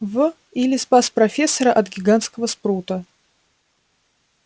в или спас профессора от гигантского спрута